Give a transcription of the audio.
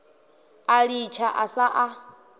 a litsha a sa a